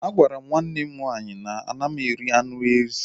A gwara m nwanne m nwaanyị na m anaghị eri anụ ezi